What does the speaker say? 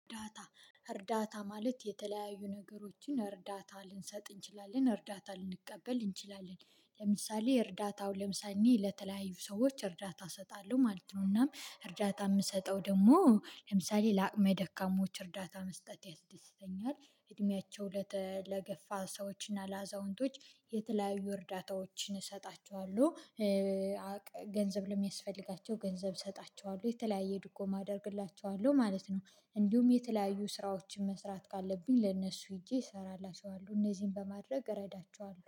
እርዳታ እርዳታ ማለት የተለያዩ ነገሮችን እርዳታ ልንሰጥ እንችላለን እርዳታ ልንቀበል እንችላለን። ለምሳሌ እርዳታው ለምሳሌ እኔ ለተለያዩ ሰዎች እርዳታ እሰጣለሁ ማለት ነው:' እናም እርዳታ ምሰጠው ደግሞ ለምሳሌ ለአቅመ ደካማዎች እርዳታ መስጠት ያስደስተኛል። እድሜያቸው ለተ ለገፋ ሰዎች እና ለአዛውንቶች የተለያዩ እርዳታዎችን እሰጣቸዋለሁ። ገንዘብ ለሚያስፈልጋቸው ገንዘብ እሰጣቸዋለሁ የተለያየ ድጎማ አደርግላቸዋለሁ ማለት ነው። እንዲሁም የተለያዩ ስራዎችን መስራት ካለብኝ ለእነሱ ሄጄ እሰራላችኋለሁ እነዚህን በማድረግ እረዳችኋለሁ።